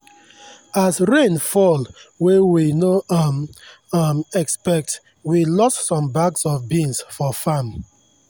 as rain fall wey we no um um expect we lose some bags of beans for farm.